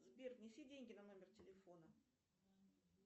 сбер внеси деньги на номер телефона